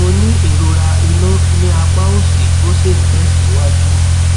mo ní ìrora inú ní apá òsì ó sì ń tẹsíwájú